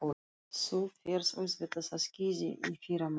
Þú ferð auðvitað á skíði í fyrramálið.